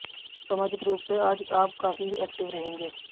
सामाजिक रुप से आज आप काफी एक्टिव रहेंगे